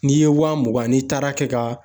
N'i ye wa mugan n'i taara kɛ ka